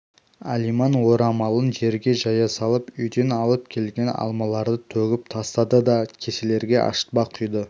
алиман орамалын жерге жая салып үйден алып келген алмаларды төгіп тастады да кеселерге ашытпа құйды